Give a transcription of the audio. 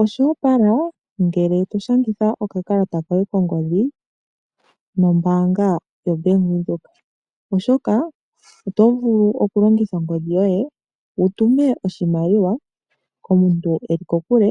Osho opala ngele toshangitha okakalata koye kongodhi nombaanga yoBank Windhoek. Oshoka otu vulu okulongitha ongodhi yoye wutume oshimaliwa komuntu eli kokule